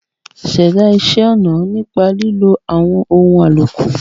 Ṣẹ̀dá iṣẹ́ ọna nípa lílo àwọn ohun àlòkù.